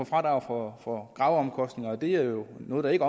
fradrag for graveomkostninger og det er jo noget der ikke